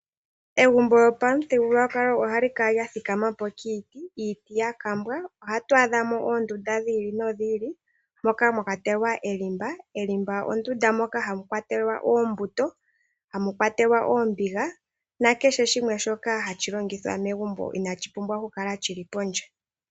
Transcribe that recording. Egumbo lyopamuthigululwakalo ohali kala lya thikama po kiiti, iiti ya kambwa. Ohatu adhamo oondunda dhiili nodhiili, moka mwa kwatelwa elimba. Elimba ondunda moka hamu kwatelwa oombuto, hamu kwatelwa oombiga, na kehe shimwe shoka hashi longithwa megumbo inashi pumbwa oku kala shili pondje.